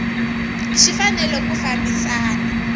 xi fanele ku fambisana na